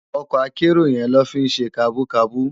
Òkò àkèéró yèn ló fi n sé kàbúkàbú